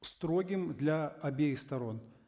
строгим для обеих сторон